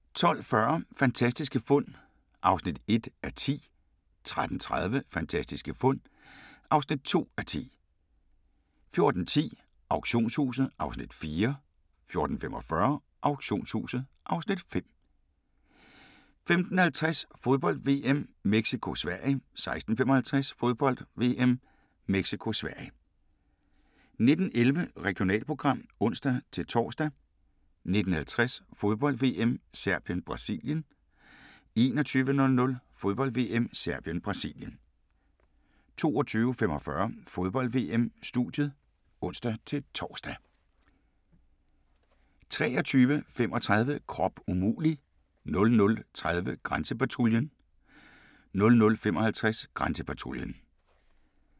12:40: Fantastiske fund (1:10) 13:30: Fantastiske fund (2:10) 14:10: Auktionshuset (Afs. 4) 14:45: Auktionshuset (Afs. 5) 15:50: Fodbold: VM - Mexico-Sverige 16:55: Fodbold: VM - Mexico-Sverige 19:11: Regionalprogram (ons-tor) 19:50: Fodbold: VM - Serbien-Brasilien 21:00: Fodbold: VM - Serbien-Brasilien 22:45: Fodbold: VM-studiet (ons-tor)